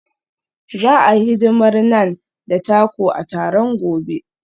Za a yi hidimar Naan da taco a taron gobe.